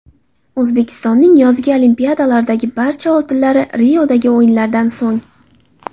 O‘zbekistonning yozgi Olimpiadalardagi barcha oltinlari Riodagi o‘yinlardan so‘ng.